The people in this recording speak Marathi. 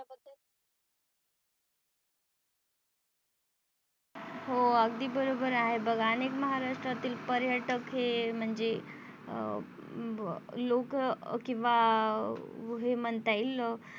हो अगदी बरोबर आहे बघ अनेक महाराष्ट्रातील पर्यटक हे म्हणजे अ ब लोक किंवा हे म्हणता येईल.